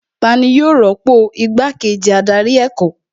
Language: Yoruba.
Tani yóò rọ́pò igbá kejì adarí ẹ̀kọ́